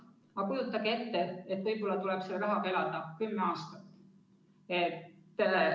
Aga kujutage ette, et võib-olla tuleb sellise rahaga elada kümme aastat.